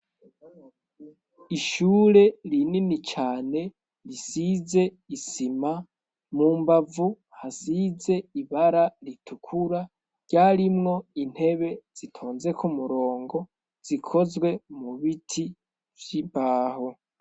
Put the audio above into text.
Ishure rinini cane risize isima. Mu mbavu hasize ibara ritukura. Ryarimwo intebe zitonze k'umurongo zikozwe mu biti vy'imbaho.